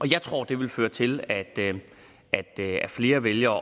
jeg tror det vil føre til at flere vælger